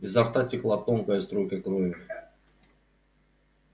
изо рта текла тонкая струйка крови